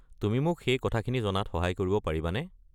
তুমি মোক সেই কথাখিনি জনাত সহায় কৰিব পাৰিবানে?